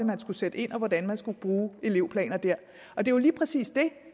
man skulle sætte ind og hvordan man skulle bruge elevplaner og det er jo lige præcis det